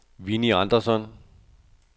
Winnie Andersson